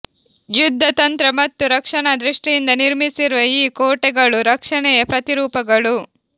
ಯುದ್ಧ ತಂತ್ರ ಮತ್ತು ರಕ್ಷಣಾ ದೃಷ್ಟಿಯಿಂದ ನಿರ್ಮಿಸಿರುವ ಈ ಕೋಟೆಗಳು ರಕ್ಷಣೆಯ ಪ್ರತಿರೂಪಗಳು